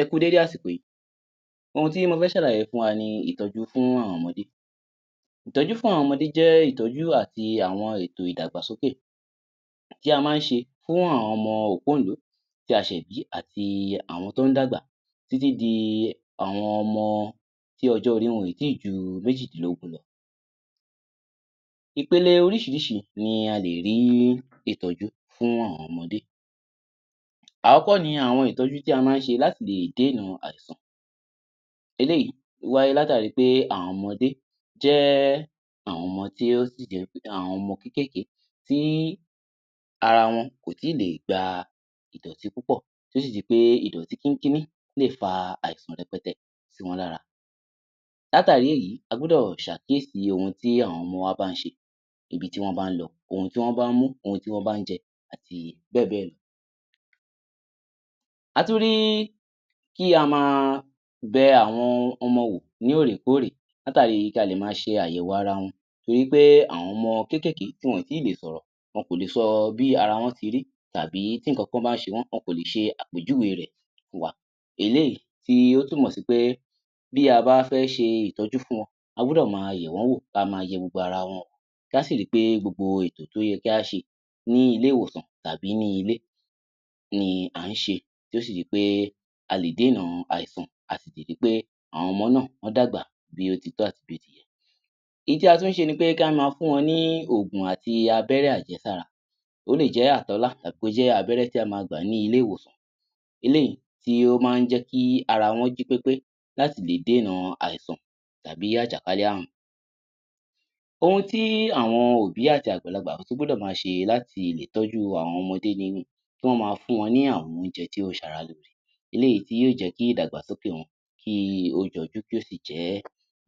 Ẹ kú u dédé àsìkò yìí. Ohun tí mo fẹ́ ṣàlàyé fún wa ni ìtọ́jú fún àwọn ọmọdẹ́. Ìtọ́jú fún àwọn ọmọdé jẹ́ ìtọ́jú àti àwọn ètò ìdàgbàsókẹ̀ tí a máa ń ṣe fún àwọn ọmọ òpóǹló tí a ṣẹ̀ bí àti àwọn tó ń dàgbà, títí di àwọn ọmọ tí ọjọ́-orí wọn ò tíì ju méjìdínlógún lọ. Ìpele oríṣìíríṣìí ni a lè rí ìtọ́jú fún àwọn ọmọdẹ́. Àọ́kọ́ ni àwọn ìtọ́jú tí a máa ń ṣe láti lè dééna àìsàn. Eléyìí wáyé látàri pé àwọn ọmọdé jẹ́ àwọn ọmọ tí ó sì jẹ́ wí pé, àwọn ọmọ kékèèké tí ara wọn kò tíì lè gba ìdọ̀tí púpọ̀ tí ó sì jẹ́ pé ìdọ̀tí kíńkíní lè fa àìsàn rẹpẹtẹ sí wọn lára. Látàrí èyí a gbúdọ̀ ṣàkíyèsí ohun tí àwọn ọmọ wa bá ń ṣe, ibi tí wọ́n bá ń lọ, ohun tí wọ́n bá mú, ohun tí wọ́n bá ń jẹ, àti bẹ́ẹ̀ bẹ́ẹ̀ lọ. A tún rí kí a ma bẹ àwọn ọmọ wò ní òòrèkóòrè, látàri kí a lè ma ṣe àyẹ̀wò ara wọn torí pé àwọn ọmọ kékèèké tí wọn ò tí ì lè sọ̀rọ̀, wọn kò lè sọ bí ara wọn ti rí, tàbí tí nǹkankan bá ń ṣe wọ́n, wọn kò lè ṣe àpèjúwe rẹ̀ fún wa. Eléyìí tí ó túnmọ̀ sí pé bí a bá fẹ́ ṣe ìtọ́jú fún wọn, a gbúdọ̀ máa yẹ̀ wọ́n wò, kí a máa yẹ gbogbo ara wọn wò, kí á sì ri pé gbogbo ètò tó yẹ kí á ṣe ní ilé-ìwòsàn tàbí ní ilé ni à ń ṣe, tí ó sì di pé a lè déèna àìsàn, a sì ti ri pé àwọn ọmọ náà, wọ́n dàgbà bí ó ti tọ́ àti bí ó ti yẹ. Ohun tí a tún ń ṣe ni pé kí á máa fún wọn ní òògùn àti abẹ́rẹ́ àjẹsára. Ó lè jẹ́ àtọ́lá tàbí kó jẹ́ abẹ́rẹ́ tí a máa gbà ní ilé-ìwòsàn, eléyìí tí ó máa ń jẹ́ kí ara wọn jí pépé láti lè déèna àìsàn tàbí àjàkálẹ̀-ààrùn. Ohun tí àwọn òbí àti àgbàlagbà tún gbúdọ̀ máa ṣe láti lè tọ́jú àwọn ọmọdé ni kí wọ́n máa fún wọn ní àwọn oúnjẹ tí ó ń ṣara lóore. Eléyìí tí yóò jẹ́ kí ìdàgbàsókè wọn kí ó jọjú kí ó sì jẹ́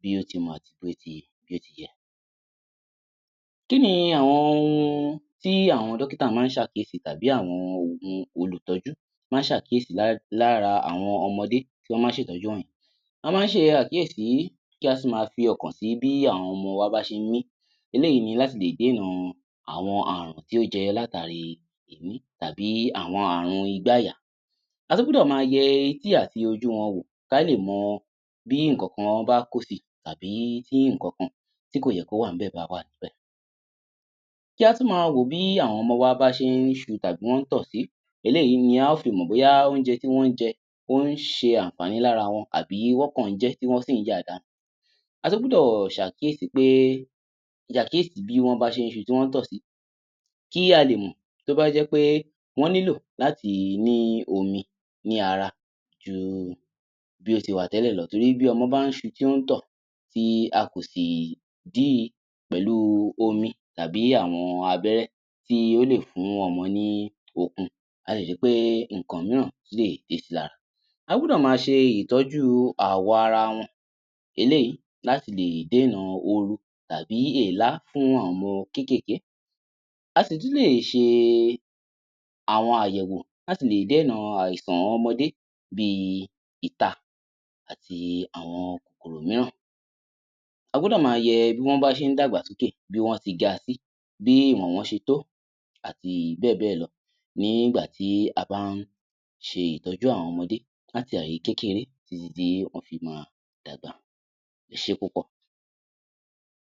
bí ó ti mọ àti bí ó ti bí ó ti yẹ. Kí ni àwọn ohun tí àwọn dọ́kítà máa ń ṣàkíyèsí tàbí àwọn ohun olùtọ́jú máa ń ṣàkíyèsí lá lára àwọn ọmọdé tí wọ́n máa ń ṣètọ́jú wọ̀nyí. Wọ́n máa ń ṣe àkíyèsí, kí a sì máa fi ọkàn sí bí àwọn ọmọ wa bá ṣe ń mí. Eléyìí ni láti lè déèna àwọn ààrùn tí ó jẹyọ látàri èémí, tàbí àwọn ààrùn igbá-àyà. A tún gbúdọ̀ máa yẹ etí àti ojú wọn wò kí a lè mo bí nǹkankan bá kó sí i tàbí tí nǹkankan tí kò yẹ kó wà níbẹ̀ bá wà níbẹ̀. Kí á tún máa wò ó bí àwọn ọmọ wa bá ṣe ń ṣu tàbí wọ́n ń tọ̀ sí, eléyìí ni a ó fi mọ̀ bóyá oúnjẹ tí wọ́n ń jẹ, ó ń ṣe àǹfààní lára wọn àbí wọ́n kàn ń jẹ ẹ́ tí wọ́n sì ń yà á dànù. A tún gbúdọ̀ ṣàkíyèsí pé, ṣàkíyèsí bí wọ́n bá ṣe ń ṣu tí wọ́n ń tọ̀ sí, kí a lè mọ̀ tó bá jẹ́ pé wọ́n nílò láti ní omi ní ara ju bí ó ti wà tẹ́lẹ̀ lọ torí bí ọmọ bá ń ṣu tí ó ń tọ̀, tí a kò sì dí i pẹ̀lú omi tàbí àwọn abẹ́rẹ́ tí ó lè fún ọmọ ní okun, á le ṣe pé nǹkan mìíràn tún lè dé si lára. A gbúdọ̀ máa ṣe ìtọ́jú àwọ̀ ara wọn. Eléyìí láti lè déènà òru tàbí èélá fún àwọn ọmọ kékèèké. A sì tún lè ṣe àwọn àyẹ̀wò láti lè déènà àìsàn ọmọdé bí i ìta àti àwọn kòkòrò mìíràn. A gbúdọ̀ máa yẹ bí wọ́n bá ṣe ń dàgbàsókè, bí wọ́n ti ga sí, bí ìwọ̀n wọ́n ṣe tó àti bẹ́ẹ̀ bẹ́ẹ̀ lọ ní ìgbà tí a bá ń ṣe ìtọ́jú àwọn ọmọdé láti ààyè kékeré títí tí wọ́n fi máa dàgbà. Ẹ sẹ́ púpọ̀!